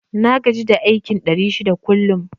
Na gaji da aikin ɗari shida kullum